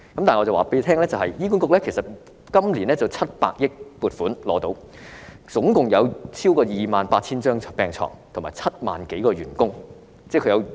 但是，醫管局今年獲得700億元撥款，共有超過 28,000 張病床和7萬多個員工。